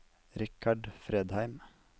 Richard Fredheim